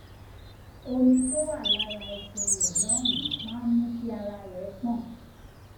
omi tó wà lára ẹsẹ rẹ lọhùnún máa ń ń mú kí ara rẹ gbọn